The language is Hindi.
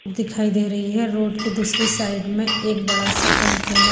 दिखाई दे रही है रोड की दूसरी साइड में एक बड़ा सा कंटेनर --